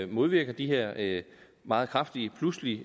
modvirker de her meget kraftige pludselige